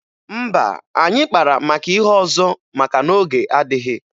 Mba, anyị kpara maka ihe ọzọ maka na oge adịghị.